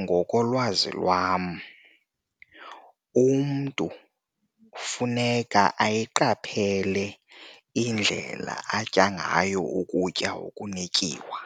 Ngokolwazi lwam umntu funeka ayiqaphele indlela atya ngayo ukutya okunetyiwa